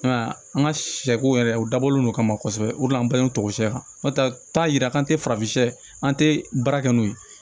An ka sɛ ko yɛrɛ o dabɔlen don ka ma kosɛbɛ o de an bangentɔ si kan yira k'an tɛ farafin an tɛ baara kɛ n'o ye